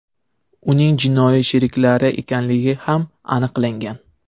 uning jinoiy sheriklari ekanligi ham aniqlangan.